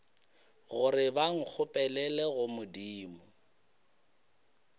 gore ba nkgopelele go modimo